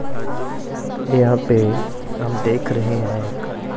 यहां पे हम देख रहे हैं एक--